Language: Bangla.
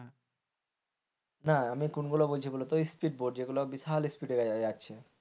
না আমি কোনগুলো বলছি বলতো speed boat যেগুলো বিশাল speed এ যাচ্ছে,